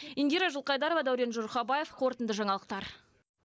индира жылқайдарова дәурен жұрхабаев қорытынды жаңалықтар